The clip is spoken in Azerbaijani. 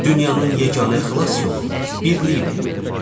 Dünyanın yeganə xilas yolu birliyidir.